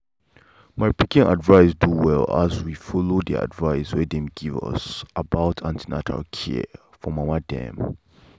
my pikin begin do well as we follow the advice wey dem give us about an ten atal care for mama dem.